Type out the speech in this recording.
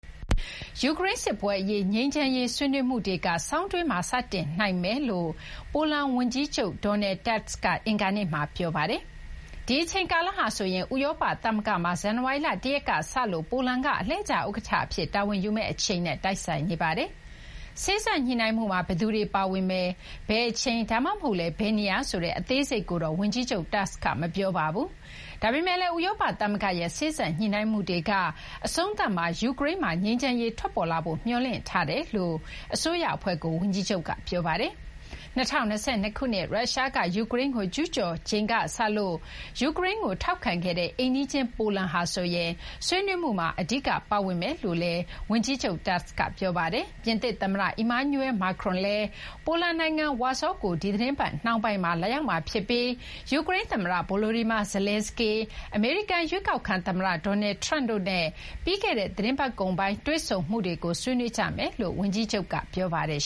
ယူကရိန်း စစ်ပွဲ အရေး ငြိမ်းချမ်းရေး ဆွေးနွေးမှုတွေက ဆောင်းတွင်းမှာ စတင်နိုင်တယ်လို့ ပိုလန် ဝန်ကြီးချုပ် Donald Tusk က အင်္ဂါနေ့မှာ ပြောပါတယ်။ ဒီ အချိန်ကာလဟာဆိုရင် ဥရောပ သမဂ္ဂမှာ ဇန်နဝါရီလ ၁ ရက်ကစလို့ ပိုလန်က အလှည့်ကျ ဥက္ကဋ္ဌ အဖြစ် တာဝန်ယူမယ့် အချိန်နဲ့ တိုက်ဆိုင်နေပါတယ်။ စေ့စပ်ညှိနှိုင်းမှုမှာ ဘယ်သူတွေ ပါဝင်မယ်၊ ဘယ်အချိန် ဒါမှမဟုတ်လည်း ဘယ်နေရာဆိုတဲ့ အသေးစိတ်တွေကိုတော့ ဝန်ကြီးချုပ် Tusk က မပြောပါဘူး။ ဒါပေမဲ့လည်း ဥရောပ သမဂ္ဂရဲ့ စေ့စပ်ညှိနှိုင်းမှုတွေက အဆုံးသတ်မှာ ယူကရိန်းမှာ ငြိမ်းချမ်းရေး ထွက်ပေါ်လာဖို့ မျှော်လင့်ထားကြောင့် အစိုးရ အဖွဲ့ကို ဝန်ကြီးချုပ်က ပြောပါတယ်။ ဒါပေမဲ့လည်း ၂၀၂၂ ခုနှစ် ရုရှားက ယူကရိန်းကို ကျူးကျော်ချိန်ကစလို့ ယူကရိန်းကို ထောက်ခံခဲ့တဲ့ အိမ်နီးချင်း ပိုလန်ဟာဆိုရင် ဆွေးနွေးမှုမှာ အဓိက ပါဝင်မယ်လို့လည်း Tusk က ပြောပါတယ်။ ပြင်သစ် သမ္မတ Emmanuel Macron လည်း ပိုလန်နိုင်ငံ ဝါဆောကို ဒီသီတင်းပတ် နှောင်းပိုင်းမှာ လာရောက်မှာ ဖြစ်ပြီး ယူကရိန်း သမ္မတ Volodymyr Zelenskyy ၊ အမေရိကန် ရွေးကောက်ခံ သမ္မတ Donald Trump တို့နဲ့ ပြီးခဲ့တဲ့ သီတင်းပတ်ကုန်ပိုင်း တွေ့ဆုံမှုတွေကို ဆွေးနွေးကြမယ်လို့လည်း ဝန်ကြီးချုပ် Tusk က ပြောပါတယ်